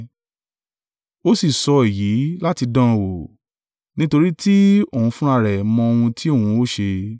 Ó sì sọ èyí láti dán an wò; nítorí tí òun fúnra rẹ̀ mọ ohun tí òun ó ṣe.